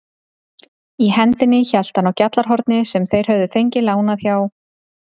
Í hendinni hélt hann á GJALLARHORNI sem þeir höfðu fengið lánað hjá